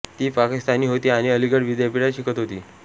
ती पाकिस्तानी होती आणि अलीगढ विद्यापीठात शिकत होती